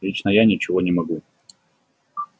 лично я ничего не могу